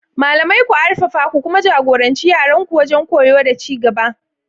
Malamai, ku arfafa ku kuma ja-goranci yaranku wajen koyo da ci gaba.